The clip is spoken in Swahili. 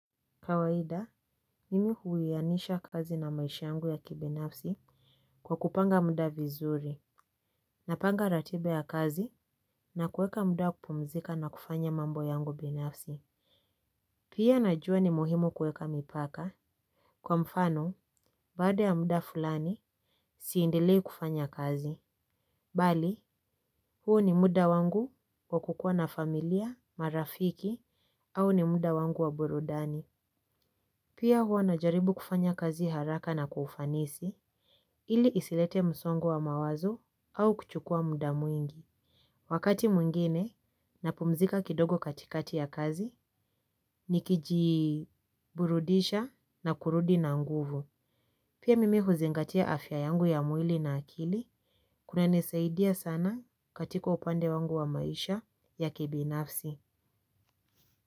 Kawaida, mimi huwianisha kazi na maisha yangu ya kibinafsi kwa kupanga muda vizuri. Napanga ratiba ya kazi na kuweka muda wa kupumzika na kufanya mambo yangu binafsi. Pia najua ni muhimu kuweka mipaka. Kwa mfano, baada ya muda fulani, siendelei kufanya kazi. Bali, huu ni muda wangu kwa kukuwa na familia, marafiki, au ni muda wangu wa burudani. Pia huwa najaribu kufanya kazi haraka na kwa ufanisi. Ili isilete msongo wa mawazo au kuchukua muda mwingi. Wakati mwingine napumzika kidogo katikati ya kazi nikijiburudisha na kurudi na nguvu. Pia mimi huzingatia afya yangu ya mwili na akili kunanisaidia sana katika upande wangu wa maisha ya kibinafsi.